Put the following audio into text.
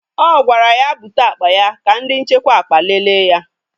O gwara ya bute akpa ya ka ndị nchekwa akpa lele ya!